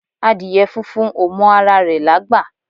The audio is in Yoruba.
Adìyẹ funfun ò mọ ara rẹ̀ lágbà.